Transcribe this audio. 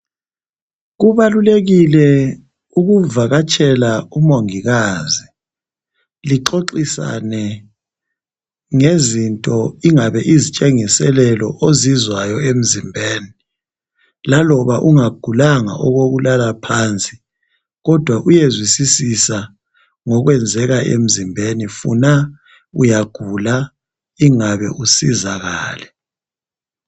Kubalulekile ukuvakatshela umongikazi, lixoxisane ngezinto, ingabe izitshengiselelo ozizwayo emzimbeni, laloba ungagulanga okokulala phansi, kodwa uyezwisisisa ngokwenzeka emzimbeni, funa uyagula ingabe usizakale.